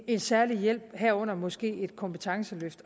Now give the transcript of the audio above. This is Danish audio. en særlig hjælp herunder måske et kompetenceløft